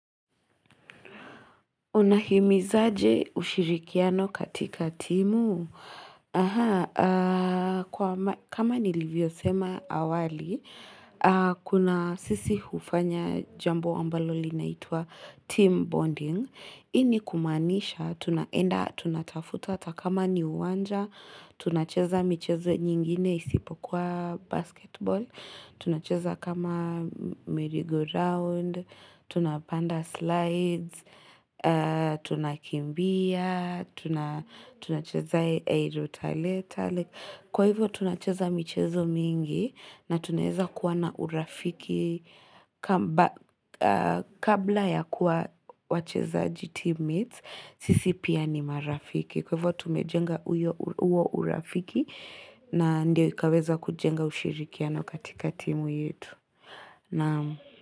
Unahimizaje ushirikiano katika timu? Kama nilivyosema awali, kuna sisi hufanya jambo ambalo linaitwa team bonding. Hii ni kumaanisha tunaenda, tunatafuta hata kama ni uwanja, tunacheza michezo nyingine isipo kuwa basketball, tunacheza kama merry-go-round, tunapanda slides, tunakimbia, tunacheza I wrote a letter. Kwa hivyo tunacheza michezo mingi na tunaweza kuwa na urafiki kabla ya kuwa wacheza team mates, sisi pia ni marafiki. Kwa hivyo tumejenga huo urafiki na ndio ikaweza kujenga ushirikiano katika timu yetu. Naam.